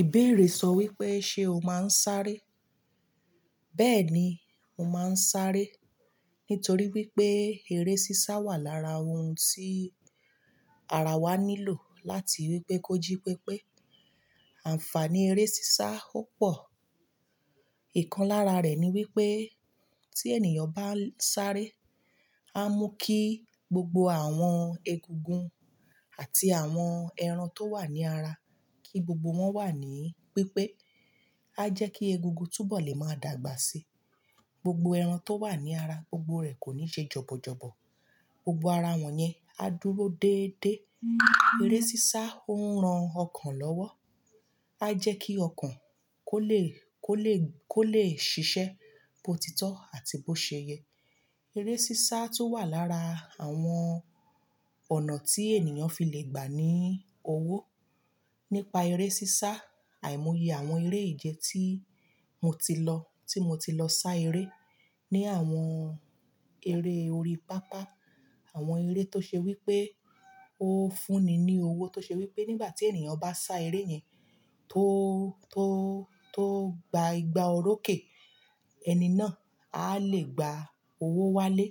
Ìbéèrè sọ wípé, ṣe o máa ń sáré? Bẹ́ẹ̀ni, mo máa ń sáré nítorí wípé eré sísá wà lára ohun tí ara wa nílò láti wípé kó jí pípé. Àǹfààní eré sísá ò pọ̀. Ìkan lára rẹ̀ ní wípé tí ènìyàn bá ń sáré, a mú kí gbogbo àwọn egungun àti àwọn ẹran tó wà ní ara kí gbogbo wọn wà ní pípé. A jẹ́ kí egungun túbọ̀ lè máa dàgbà sí. Gbogbo ẹran tó wà ní ara gbogbo rẹ̀ kò ní ṣe jọ̀bọ̀ jọ̀bọ̀. Gbogbo ara won yen, a duro deede. Ere sisa o n ran okan lowo. A jẹ́ kí ọkàn kó lè, kó lè, kó lè ṣiṣẹ́ bó ti tọ́ àti bó ṣe yẹ. Eré sísá tún wà lára àwọn ọ̀nà tí ènìyàn fi lè gbà ní owó. Nípa eré sísá, àìmọye àwọn eré ìje tí mo ti lọ, tí mo ti lọ sá eré ní àwọn eré orí pápá. Awon ere to se wipe o fun ni ni owo, to se wipe nigba ti eniyan ba sa ere yen to, to, to gba igba oroke, eni naa a le gba owo wale.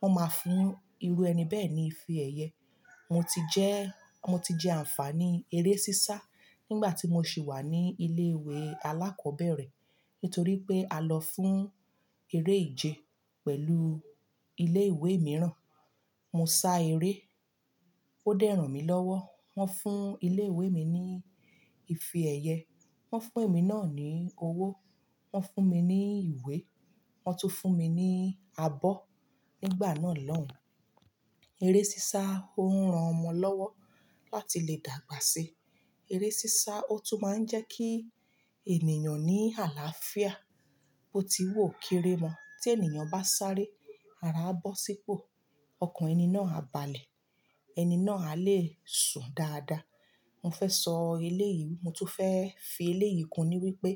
Wọ́n máa fún irú ẹni bẹ́ẹ̀ ní ìfe èyẹ. Mo ti jẹ́, mo ti jẹ àǹfààní eré sísá nígbà tí mo sì wà ní ilé ìwé alákọ̀ọ́bẹ̀rẹ̀ nítorí pé a lọ fún eré ìje pẹ̀lú ilé ìwé mìíràn. Mo sá eré, ó dẹ́ ran mi lọ́wọ́. Wọ́n fún ilé ìwé mi ní ìfe èyẹ, wọ́n fún èmi náà ní owó, wọ́n fún mi ní ìwé, wọ́n tún fún mi ní abọ́ nígbà náà lọ́ùn-ún. Eré sísá ó ń ran ọmọ lọ́wọ́ láti lè dàgbà sí. Eré sísá ó tún máa ń jẹ́ kí ènìyàn ní àlàáfíà bó ti wu ó kere mọ́. Tí ènìyàn bá sáré, ara á bọ́ sí ipò, ọkàn ẹni náà á balẹ̀, ẹni náà a lè sùn dáadáa. Mo fẹ́ sọ eléyìí, mo tún fẹ́ fi eléyìí kùn ní wípé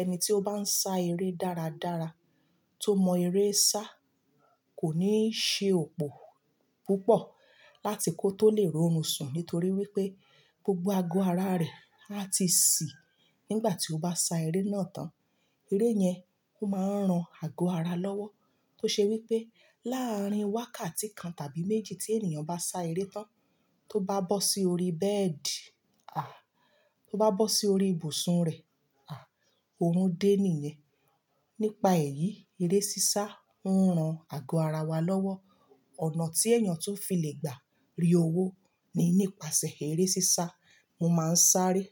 ẹni tí ó bá ń sá eré dáradára tó mọ eré sá kò ní ṣe òpó púpọ̀ láti kó tó lè rorún sùn nítorí wípé gbogbo ago ara rẹ̀ a ti sì nígbà tí ó bá sá eré náà tán. Eré yẹn ó máa ń ran ago ara lọ́wọ́ tó ṣe wípé láàárín wákàtí kan tàbí méjì tí ènìyàn bá sá eré tán tó bá bọ́ sí orí bẹ́ẹ̀dì, à, tó bá bọ́ sí orí ibùsùn rẹ̀, à, oorun dé nìyẹn. Nípa èyí, eré sísá ń ran ago ara wa lọ́wọ́. Ọ̀nà tí èèyàn tún fi lè gbà rí owó ni nípasẹ̀ eré sísá. Mo máa ń sáré.